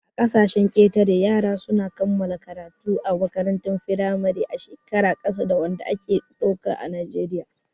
A ƙasashen ƙetare, yara su na kammala karatu a makarantar firamare a shekaru ƙasa da wanda ake ɗauka a najeriya